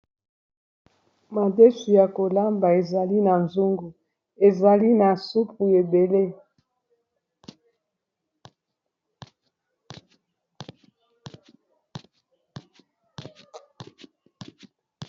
madesi ya kolamba ezali na zongu ezali na supu ebele